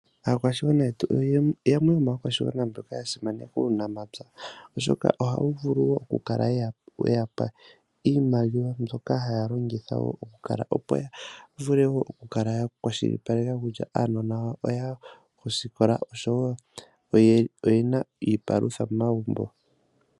Aakwashigwana yetu yamwe yomaakwashigwana mboka yasimaneka uunamapywa, okashoka ohawu vulu woo kukala weyapa iimaliwa mbyoka haalongitha woo okukala opo yavule woo okukala yakwashilipaleka kutya aanona oyaya kosikola oshowoo oyena iipalutha momagumbo.